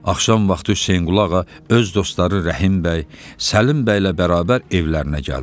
Axşam vaxtı Hüseynqulağa öz dostları Rəhim bəy, Səlim bəylə bərabər evlərinə gəldilər.